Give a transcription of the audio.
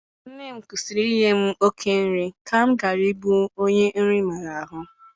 Nne m kwusịrị inye m oké nri ka m ghara ịbụ onye nri maara ahụ.